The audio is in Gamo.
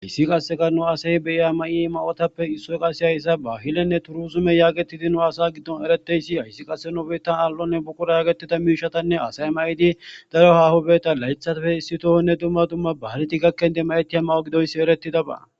Hassi qasseka nu assati maayiza mayotappe issoy qasse hayss bahilenne turisime getetidi nu asa gidon eretideysi hayssi qase nu bitan al'o buuqura getetidi daro haho layththappe issi tohonne dumma dumma ba'aletan mayetidabi eretidaba.